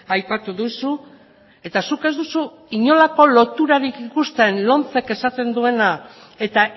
aipatu duzu eta zuk ez duzu inolako loturarik ikusten lomcek esaten duena eta